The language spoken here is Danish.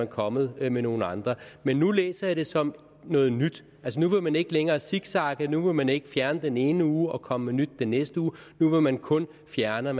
kommet med nogle andre men nu læser jeg det som noget nyt altså nu vil man ikke længere zigzagge nu vil man ikke fjerne noget den ene uge og komme med nyt den næste uge nu vil man kun fjerne